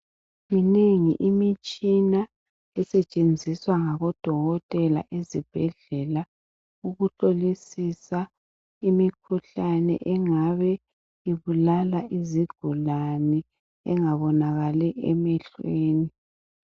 Minengi imitshina esetshenziswa ngabodokotela ezibhedlela ukuhlolisisa imikhuhlane engabe ibulala izigulani engabonakali emehlweni.